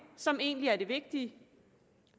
som egentlig er det vigtige